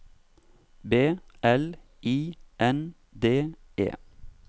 B L I N D E